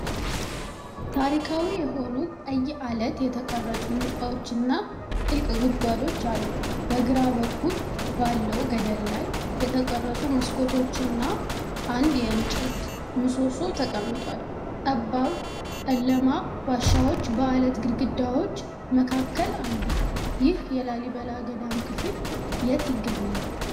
ታሪካዊ የሆኑ ቀይ አለት የተቀረጹ ህንጻዎች እና ጥልቅ ጉድጓዶች አሉ። በግራ በኩል ባለው ገደል ላይ የተቀረጹ መስኮቶችና አንድ የእንጨት ምሰሶ ተቀምጧል። ጠባብ፣ ጨለማ ዋሻዎች በአለት ግድግዳዎች መካከል አሉ። ይህ የላሊበላ ገዳም ክፍል የት ይገኛል?